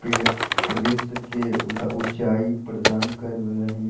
उच्चाई प्रदान कर रहे है।